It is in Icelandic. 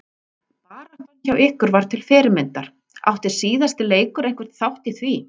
Baráttan hjá ykkur var til fyrirmyndar, átti síðasti leikur einhvern þátt í því?